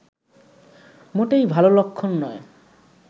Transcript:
মোটেই ভালো লক্ষণ নয়